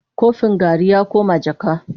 Kofin garri ya koma jaka.